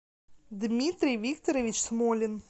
дмитрий викторович смолин